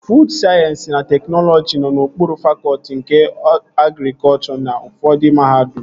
Fuud Sayensị na Teknọlọji nọ n'okpuru fakọtị nke agrikọchọ n'ufọdụ mahadum